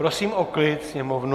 Prosím o klid sněmovnu!